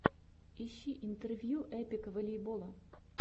ищи интервью эпик волейбола